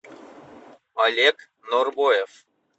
олег норбоев